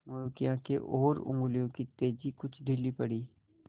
मोरू की आँखें और उंगलियों की तेज़ी कुछ ढीली पड़ी